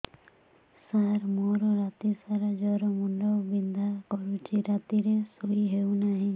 ସାର ମୋର ରାତି ସାରା ଜ୍ଵର ମୁଣ୍ଡ ବିନ୍ଧା କରୁଛି ରାତିରେ ଶୋଇ ହେଉ ନାହିଁ